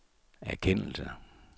erkendelse